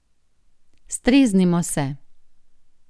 Streznimo se!